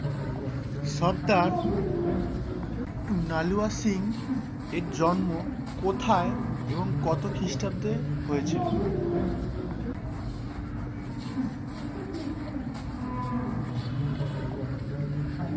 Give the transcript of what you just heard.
সর্দার নালোয়া সিং এর জন্ম কোথায় এবং কত খ্রিস্টাব্দ হয়েছিল?